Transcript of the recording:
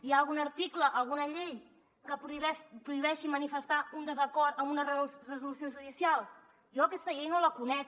hi ha algun article alguna llei que prohibeixi manifestar un desacord amb una resolució judi·cial jo aquesta llei no la conec